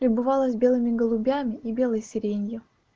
бывало с белыми голубями и белой сиренью